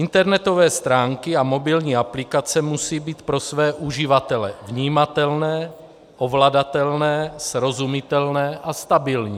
Internetové stránky a mobilní aplikace musí být pro své uživatele vnímatelné, ovladatelné, srozumitelné a stabilní.